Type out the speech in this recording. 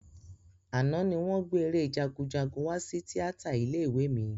Àná ni wọ́n gbé eré Jagunjagun wá sí tíátà ilé ìwé mi